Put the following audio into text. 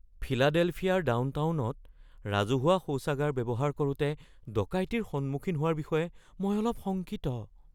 ফিলাডেলফিয়াৰ ডাউনটাউনত ৰাজহুৱা শৌচাগাৰ ব্যৱহাৰ কৰোঁতে ডকাইতিৰ সন্মুখীন হোৱাৰ বিষয়ে মই অলপ শংকিত।